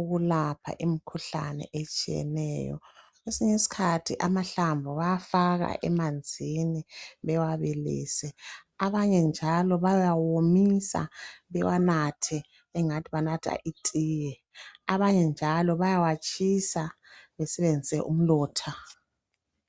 ukulapha imikhuhlane etshiyeneyo kwesinye isikhathi amahlamvu bayafaka emanzini bewabilise abanye njalo bayawomisa bawanathe engathi banatha itiye abanye njalo bayawatshisa basebenzise umlotha